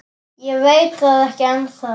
Ég veit það ekki ennþá.